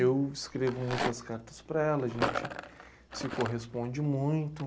Eu escrevo muitas cartas para ela, a gente se corresponde muito.